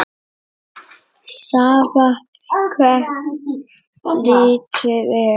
Sama hvert litið er.